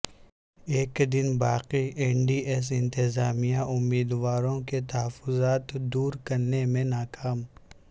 ایک دن باقی این ٹی ایس انتظامیہ امیدوار وں کے تحفظات دور کرنے میں ناکام